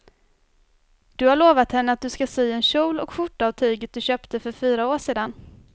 Du har lovat henne att du ska sy en kjol och skjorta av tyget du köpte för fyra år sedan.